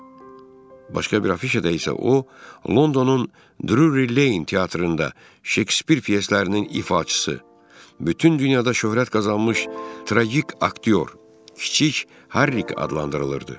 Başqa bir afişada isə o, Londonun Drury Lane teatrında Şekspir pyeslərinin ifaçısı, bütün dünyada şöhrət qazanmış tragik aktyor kiçik Harryk adlandırılırdı.